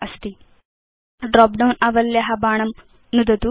तत् बृहत् कर्तुं ड्रॉप डाउन आवल्या बाणं नुदतु